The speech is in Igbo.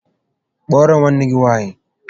Kpọọrọ m nwanne gị nwaanyị!